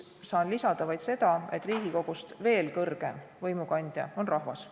Saan lisada vaid seda, et Riigikogust veel kõrgem võimukandja on rahvas.